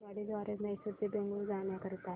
आगगाडी द्वारे मैसूर ते बंगळुरू जाण्या करीता